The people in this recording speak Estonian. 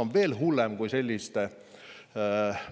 On veel hullem, kui sellise